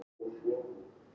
Ódæðisverk verði fordæmt